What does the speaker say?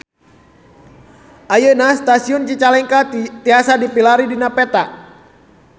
Ayeuna Stasiun Cicalengka tiasa dipilarian dina peta